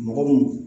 Mɔgɔ mun